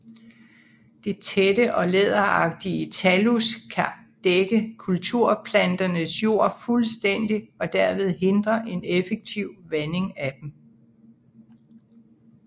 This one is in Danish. Det tætte og læderagtige thallus kan dække kulturplanternes jord fuldstændigt og derved hindre en effektiv vanding af dem